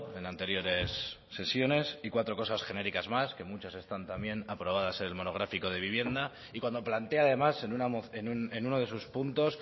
en anteriores sesiones y cuatro cosas genéricas más que muchas están también aprobadas en el monográfico de vivienda y cuando plantea además en uno de sus puntos